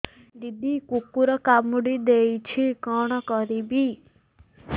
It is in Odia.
ଦିଦି କୁକୁର କାମୁଡି ଦେଇଛି କଣ କରିବି